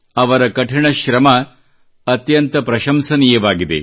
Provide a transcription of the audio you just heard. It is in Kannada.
ಅವರ ಕಠಿಣ ಶ್ರಮ ಅತ್ಯಂತ ಪ್ರಶಂಸನೀಯವಾಗಿದೆ